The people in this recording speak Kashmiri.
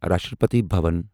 راشٹرپتی بھوَن